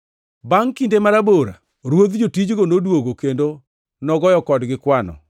“Bangʼ kinde marabora ruodh jotijgo noduogo kendo nogoyo kodgi kwano.